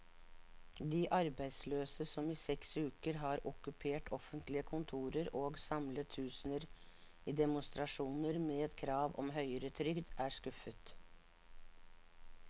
De arbeidsløse, som i seks uker har okkupert offentlige kontorer og samlet tusener i demonstrasjoner med krav om høyere trygd, er skuffet.